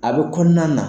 A bɛ kɔnɔna na